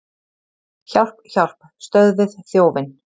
Hjálp, hjálp, stöðvið þjófinn!